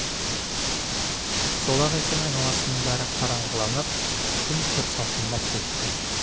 сол ақ екен айналаның бәрі қараңғыланып күн күрт салқындап кетті